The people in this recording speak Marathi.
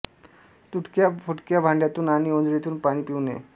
तुटक्या फुटक्या भांड्यातून आणि ओंजळीतून पाणी पिऊ नये